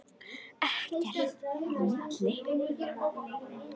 Ekkert þar á milli.